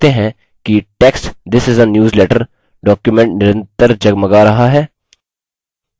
हम देखते हैं कि text this is a newsletter document निरंतर जगमगा रहा है